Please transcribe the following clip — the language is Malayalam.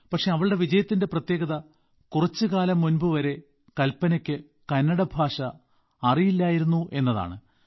പക്ഷേ അവളുടെ വിജയത്തിന്റെ പ്രത്യേകത കുറച്ചുകാലം മുമ്പുവരെ കൽപനയ്ക്ക് കന്നഡ ഭാഷ അറിയില്ലായിരുന്നു എന്നതാണ്